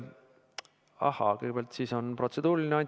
Ahaa, kõigepealt on protseduuriline küsimus.